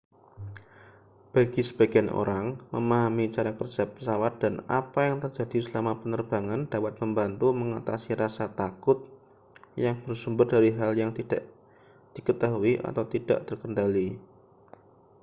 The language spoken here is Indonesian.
bagi sebagian orang memahami cara kerja pesawat dan apa yang terjadi selama penerbangan dapat membantu mengatasi rasa takut yang bersumber dari hal yang tidak diketahui atau tidak terkendali